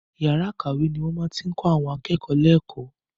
Yàrá ìkàwé ni wọ́n ti máa ń kọ àwọn akẹ́kọ̀ọ́ lẹ́kọ̀ọ́.